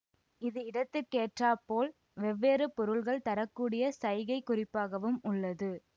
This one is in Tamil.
இது இடத்திற்கேற்றாற் போல் வெவ்வேறு பொருள்கள் தர கூடிய சைகைக் குறிப்பாகவும் உள்ளது